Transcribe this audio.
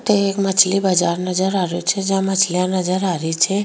ये एक मछली बाजार नजर आ रहियो छे जहाँ मछलिया नजर आ री छे।